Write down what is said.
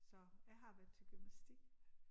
Så jeg har været til gymnastik